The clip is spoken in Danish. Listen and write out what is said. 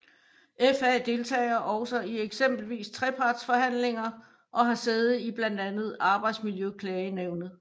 FA deltager også i eksempelvis trepartsforhandlinger og har sæde i blandt andet Arbejdsmiljøklagenævnet